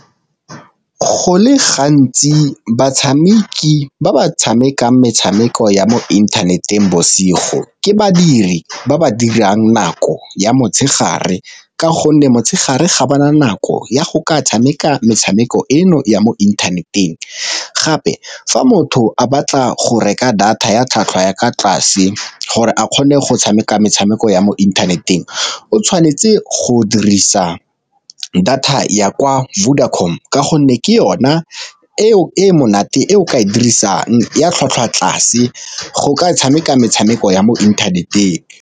Go le gantsi batshameki ba ba tshamekang metshameko ya mo inthaneteng bosigo ke badiri ba ba dirang nako ya motshegare, ka gonne motshegare ga ba na nako ya go ka tshameka metshameko eno ya mo inthaneteng. Gape fa motho a batla go reka data ya tlhwatlhwa ya kwa tlase gore a kgone go tshameka metshameko ya mo inthaneteng o tshwanetse go dirisa data ya kwa Vodacom, ka gonne ke yona eo e monate e o ka e dirisang ya tlhwatlhwa tlase go ka tshameka metshameko ya mo internet-eng.